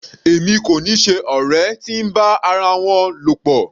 Èmi kò ni ṣe ọ̀rẹ́ tí ń bá ara wọn lọ̀pọ̀.